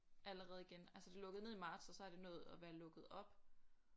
Allerede igen altså det lukkede ned i marts og så har det nået at være lukket op